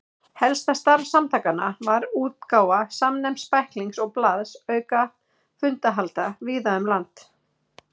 Helsta starf samtakanna var útgáfa samnefnds bæklings og blaðs auka fundahalda víða um land.